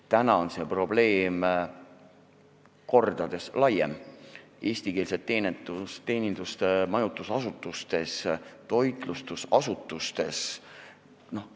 Täna on see probleem mitu korda laiem: eestikeelne teenindus majutusasutustes ja toitlustusasutustes.